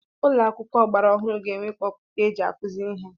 Ụlọ akwụkwọ ọgbara ọhụrụ ga-enwe kpọputa eji akụzi ihe.